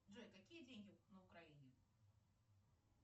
джой какие деньги на украине